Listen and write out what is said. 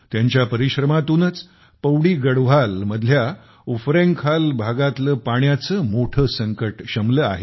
त्यांच्या परिश्रमातूनच पौड़ी गढ़वाल मधल्या उफरैंखाल भागातले पाण्याचं मोठ संकट शमलं आहे